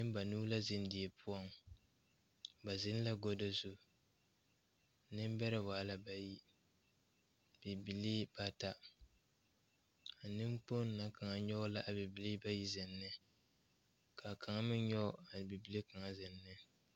Neŋ banuu la zeŋ did poɔŋ ba zeŋ la gado zu neŋbɛrɛ waa la bayi bibilii bata a neŋkpoŋ na kaŋ nyoge la a bibilii bayi zeŋ ne kaa kaŋa meŋ nyoge a bibile kaŋ zeŋ ne.